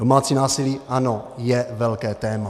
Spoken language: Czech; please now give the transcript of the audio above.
Domácí násilí, ano, je velké téma.